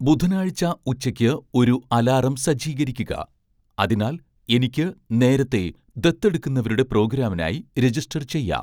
ബുധനാഴ്ച ഉച്ചയ്ക്ക് ഒരു അലാറം സജ്ജീകരിക്കുക, അതിനാൽ എനിക്ക് നേരത്തെ ദത്തെടുക്കുന്നവരുടെ പ്രോഗ്രാമിനായി രജിസ്റ്റർ ചെയ്യാം